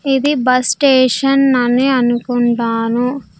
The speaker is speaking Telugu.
ఇది బస్ స్టేషన్ అని అనుకుంటాను.